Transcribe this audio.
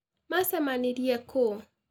Macemanirie kũ?